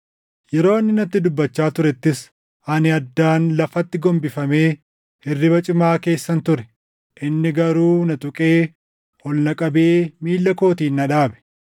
Yeroo inni natti dubbachaa turettis, ani addaan lafatti gombifamee hirriba cimaa keessan ture. Inni garuu na tuqee ol na qabee miilla kootiin na dhaabe.